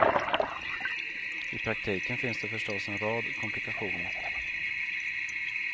I praktiken finns det förstås en rad komplikationer.